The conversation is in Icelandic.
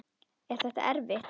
Er þetta erfitt?